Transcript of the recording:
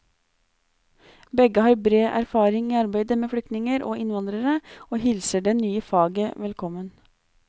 Begge har bred erfaring i arbeidet med flyktninger og innvandrere, og hilser det nye faget velkommen.